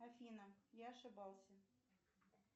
афина я ошибался